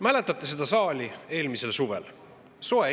Mäletate seda saali eelmisel suvel?